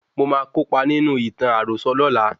Mo máa kópa nínú ìtàn àròsọ lola